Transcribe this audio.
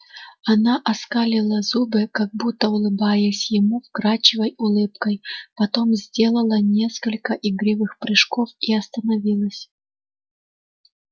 она скалила зубы как будто улыбаясь ему вкрадчивой улыбкой потом сделала несколько игривых прыжков и остановилась